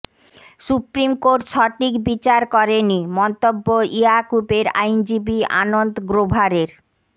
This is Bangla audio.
সুপ্রিম কোর্ট সঠিক বিচার করেনি মন্তব্য ইয়াকুবের আইনজীবী আনন্দ গ্রোভারের